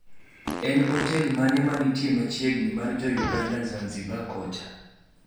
En otel mane ma ntie machiegni mar jougnada zanzibar kocha